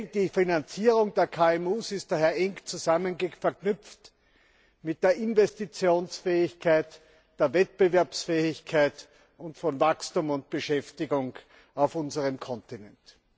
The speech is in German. Die Finanzierung der KMUs ist daher eng verknüpft mit der Investitionsfähigkeit, der Wettbewerbsfähigkeit und mit Wachstum und Beschäftigung auf unserem Kontinent.